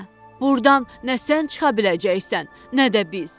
Burdan nə sən çıxa biləcəksən, nə də biz.